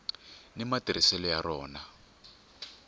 ni matirhiselo ya rona